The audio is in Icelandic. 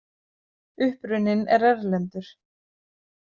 Uppruninn er erlendur.